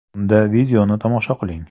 Unda videoni tomosha qiling!